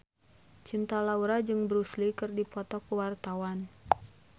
Cinta Laura jeung Bruce Lee keur dipoto ku wartawan